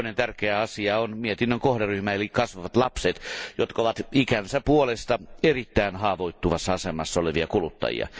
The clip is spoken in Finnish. Toinen tärkeä asia ovat mietinnön kohderyhmä eli kasvavat lapset, jotka ovat ikänsä puolesta erittäin haavoittuvassa asemassa olevia kuluttajia.